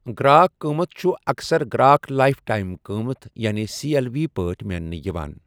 گرٛاک قۭمَتھ چھُ اکثر گرٛاک لائف ٹائم قۭمَتھ یعنی سی ایل وی پٲٹھۍ میننہٕ یِوان۔